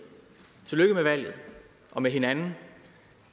tillykke med valget og med hinanden